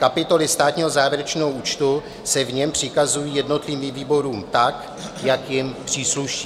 Kapitoly státního závěrečného účtu se v něm přikazují jednotlivým výborům tak, jak jim přísluší.